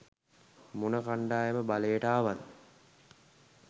මොන කණ්ඩායම බලයට ආවත්.